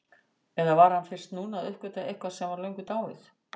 Eða var hann fyrst núna að uppgötva eitthvað sem var löngu dáið?